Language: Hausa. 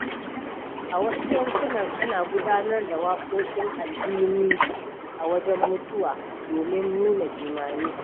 A wasu yankunan, ana gudanar da waƙoƙin alhinin a wajen mutuwa domin nuna jimami.